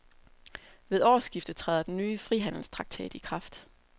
Ved årsskiftet træder den nye frihandelstraktat i kraft.